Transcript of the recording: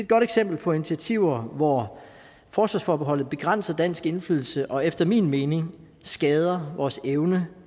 godt eksempel på initiativer hvor forsvarsforbeholdet begrænser dansk indflydelse og efter min mening skader vores evne